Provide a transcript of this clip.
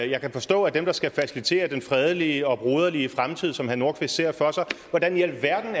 jeg kan forstå er dem der skal facilitere den fredelige og broderlige fremtid som herre nordqvist ser for sig hvordan i alverden